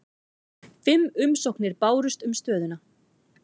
Fimm umsóknir bárust um stöðuna